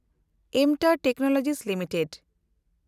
ᱮᱢᱴᱟᱨ technology limited